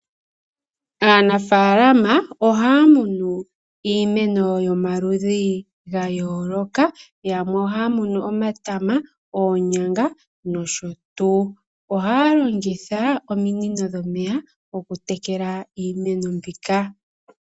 Aanafalama ohaya munu iimeno yomaludhi ga yoloka yamwe ohaya munu omatama , onyanga noshotuu ohaya longitha ominino dhomeya okutekele iimeno mbika.